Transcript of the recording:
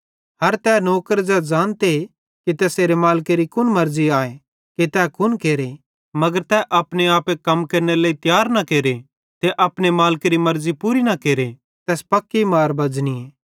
हर तै नौकर ज़ै ज़ानते कि तैसेरे मालिकेरी कुन मर्ज़ी आए कि तै कुन केरे मगर तै अपने आपे कम केरनेरे लेइ तियार न केरे ते अपने मालिकेरी मर्ज़ी पूरी न केरे तैस पक्की मार बज़नीए